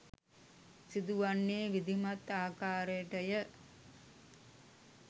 සිදුවන්නේ විධිමත් ආකාරයටය